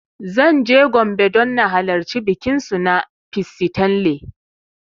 Zan je Gombe don na halarci bikin su na ''Pissi tanle''